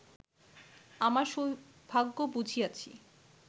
আমার সৌভাগ্য বুঝিয়াছি